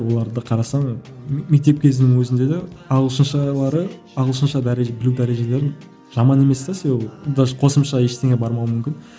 оларды да қарасаң мектеп кезінің өзінде де ағылшыншалары ағылшынша білу дәрежелерін жаман емес те себебі даже қосымша ештеңе бармауы мүмкін